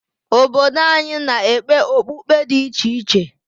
Obodo anyị na-ekpe okpukpe dị iche iche.